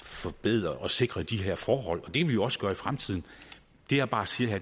forbedre og sikre de her forhold det kan vi jo også gøre i fremtiden det jeg bare siger her